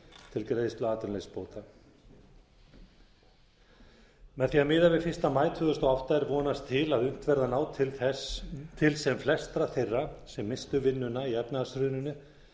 til greiðslu atvinnuleysisbóta með því að miða við fyrsta maí tvö þúsund og átta er vonast til að unnt verði að ná til sem flestra þeirra sem misstu vinnuna í efnahagshruninu